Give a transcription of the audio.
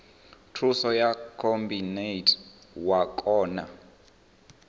thuso ya khabinete wa kona